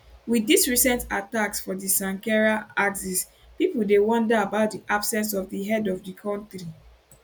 wit dis recent attacks for di sankera axis pipo dey wonder about di absence of di head of di kontri